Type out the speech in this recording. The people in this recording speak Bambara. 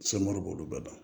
b'olu bɛɛ dɔn